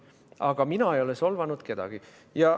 Aga mina ei ole solvanud kedagi.